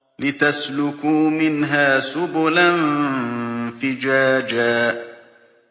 لِّتَسْلُكُوا مِنْهَا سُبُلًا فِجَاجًا